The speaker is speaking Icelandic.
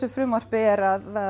frumvarpinu er að